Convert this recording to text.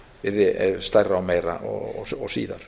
yrði stærra og meira og síðar